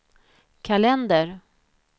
kalender